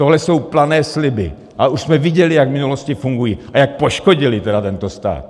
Tohle jsou plané sliby a už jsme viděli, jak v minulosti fungují a jak poškodily tedy tento stát.